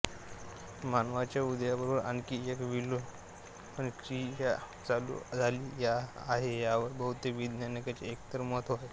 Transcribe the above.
मानवाच्या उदयाबरोबर आणखी एक विलोपन क्रिया चालू झाली आहे यावर बहुतेक वैज्ञानिकांचे एकमत होत आहे